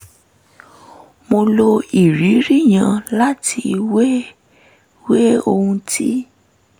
mo lo ìrírí yẹn láti wéwèé ohun tí